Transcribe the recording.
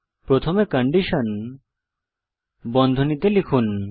প্রথমে কন্ডিশন বন্ধনীতে লিখুন